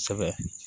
Kosɛbɛ